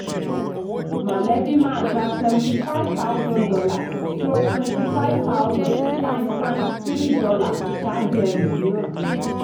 mọ̀lẹ́bí máa gba seventy five thousand dollar stroke twenty five thousand dollar times times three ṣáájú ẹlòmíràn.